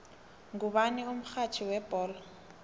ngubani umxhatjhi webholo